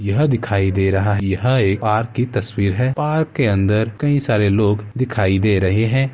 यह दिखाई दे रहा है। यह एक पार्क की तस्वीर है और पार्क के अंदर कई सारे लोग दिखाई दे रहे हैं |